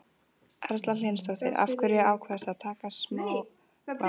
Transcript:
Erla Hlynsdóttir: Af hverju ákvaðstu að taka smálán?